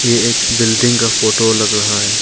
ये एक बिल्डिंग का फोटो लग रहा है।